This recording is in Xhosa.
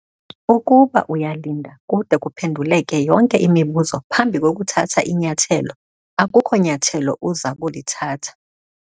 Ukuba uyalinda kude kuphenduleke yonke imibuzo phambi kokuthatha inyathelo, akukho nyathelo uza kulithatha.